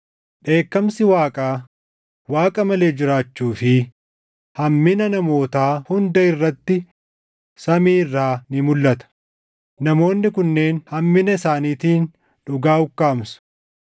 Dheekkamsi Waaqaa, Waaqa malee jiraachuu fi hammina namootaa hunda irratti samii irraa ni mulʼata; namoonni kunneen hammina isaaniitiin dhugaa ukkaamsu;